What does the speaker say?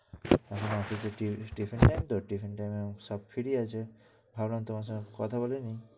এখন office এ tiffin time তো tiffin time এ সব free আছে, ভাবলাম তোমার সঙ্গে কথা বলে নিই।